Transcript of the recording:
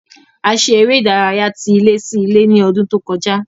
A ṣe eré ìdárayá tí ilé sí ilé ní ọdún tó kọjá